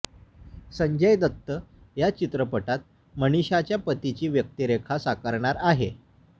संजय दत्त या चित्रपटात मनीषाच्या पतीची व्यक्तिरेखा साकारणार आहे